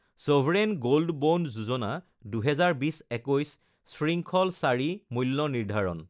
চভৰেন gold bond যোজনা ২০২০-২১ শৃংখল IV মূল্য নিৰ্ধাৰণ